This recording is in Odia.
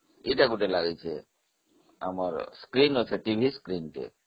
ଏଇଟା ଗୋଟେ ଲାଗିଛି, ଆମର ଟିଭି screen ଅଛି